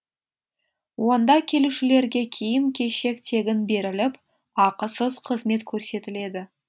онда келушілерге киім кешек тегін беріліп ақысыз қызмет көрсетіледі